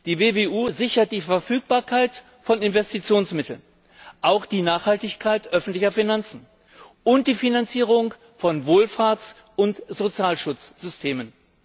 Die WWU sichert die Verfügbarkeit von Investitionsmitteln, auch die Nachhaltigkeit öffentlicher Finanzen und die Finanzierung von Wohlfahrts und Sozialschutzsystemen.